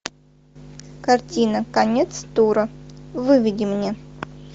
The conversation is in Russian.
картина конец тура выведи мне